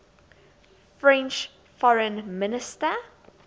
french foreign minister